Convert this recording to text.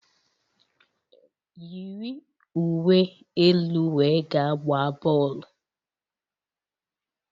Yiri uwe elu wee gaa gbaa bọọlụ!